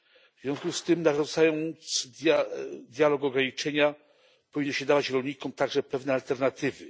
W związku z tym, narzucając dialog ograniczenia, powinno się dawać rolnikom także pewne alternatywy.